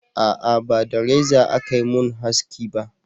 a'a ba da reza a Ka mun haski ba